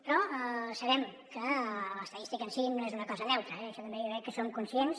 però sabem que l’estadística en si no és una cosa neutra eh d’això també jo crec que en som conscients